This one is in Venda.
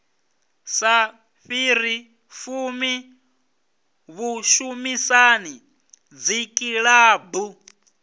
sa fhiri fumi vhushumisani dzikilabu